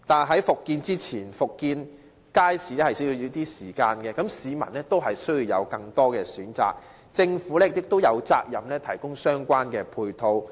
可是，復建街市需要一段時間，而在此之前，市民亦需要有更多選擇，政府亦有責任提供相關配套。